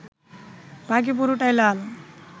বাকি পুরোটাই লাল